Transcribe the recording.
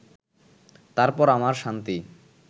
তারপর আমার শান্তি